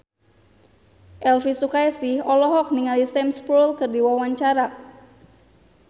Elvi Sukaesih olohok ningali Sam Spruell keur diwawancara